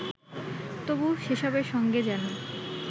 তবু সেসবের সঙ্গে যেন